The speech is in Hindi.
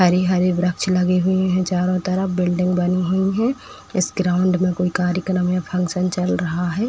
हरी हरी वृक्ष लगी हुई है चारों तरफ। बिल्डिंग बनी हुई है। इस ग्राउंड में कोई कार्यक्रम या फंक्शन चल रहा है।